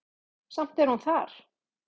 Samt er hún þar.